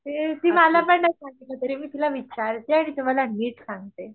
ती मला पण नाही सांगितलं तरी मी तिला विचारते आणि तुम्हाला नीट सांगते